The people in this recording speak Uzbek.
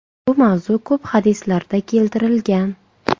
Bu mavzu ko‘p hadislarda keltirilgan.